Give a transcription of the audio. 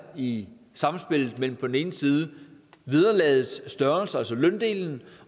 i spil mellem på den ene side vederlagets størrelse altså løndelen